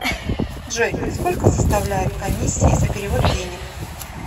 джой сколько составляет комиссии за перевод денег